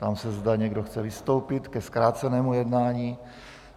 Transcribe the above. Ptám se, zda někdo chce vystoupit ke zkrácenému jednání?